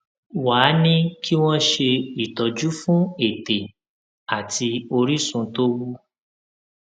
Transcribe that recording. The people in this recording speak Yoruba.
wá a ní kí wón ṣe ìtọjú fún ètè àti orísun tó wú